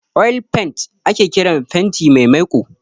'Oil paint'' ake kiran fenti mai maiko